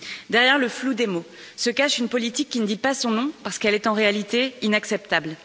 Derrière le flou des mots, se cache une politique qui ne dit pas son nom, parce qu'elle est en réalité inacceptable.